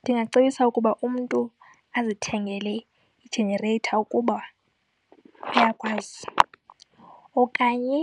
Ndingacebisa ukuba umntu azithengele i-generator ukuba uyakwazi, okanye